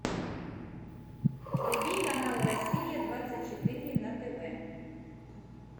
вруби канал россия двадцать четыре на тв